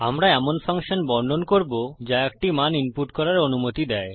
আমরা এমন ফাংশন বর্ণন করবো যা একটি মান ইনপুট করার অনুমতি দেয়